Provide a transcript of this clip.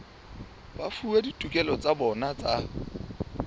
fuwa ditokelo tsa bona tsa